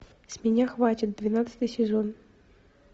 с меня хватит двенадцатый сезон